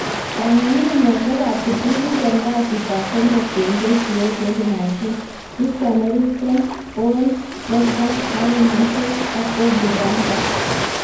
Kong'ung'unyosiek ab kiptulit en kasitab somok 28/08/2019: Christian, Eriksen, Paul Pogba, Aaron Hickey ak Bobby Duncan.